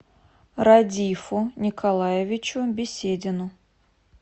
радифу николаевичу беседину